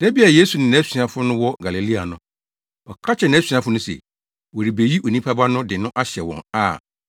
Da bi a Yesu ne nʼasuafo no wɔ Galilea no, ɔka kyerɛɛ nʼasuafo no se, “Wɔrebeyi Onipa Ba no de no ahyɛ wɔn a